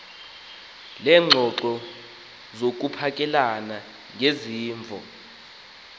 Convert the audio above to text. leengxoxo zokuphakelana ngezimvo